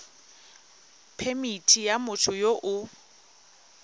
phemithi ya motho yo o